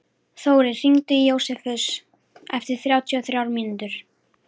Þórir, hringdu í Jósefus eftir þrjátíu og þrjár mínútur.